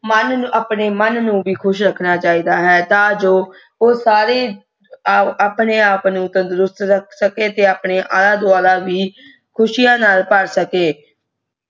ਮਾਨ ਨੂੰ ਆਪਣੇ ਮਾਨ ਨੂੰ ਵੀ ਖੁਸ਼ ਰਾਕਣਾ ਚੇਤਾ ਹੈ ਤਾ ਜੋ ਓ ਸਾਰਾ ਆਪਣੇ ਆਪ ਨੂੰ ਤੰਦੁਰਸਤ ਰੱਖ ਸਕੇ ਤੇ ਆਪਣਾ ਆਲਾ ਦੁਆਲਾ ਵੀ ਕੁਸ਼ੀਆਯਾ ਨਾਲ ਭਰ ਸਕੇ